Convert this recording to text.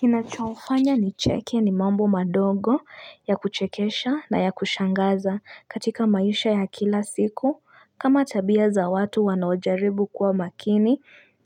Kinachofanya ni cheke ni mambo madogo ya kuchekesha na ya kushangaza katika maisha ya kila siku kama tabia za watu wanojaribu kuwa makini